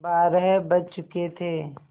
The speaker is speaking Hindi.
बारह बज चुके थे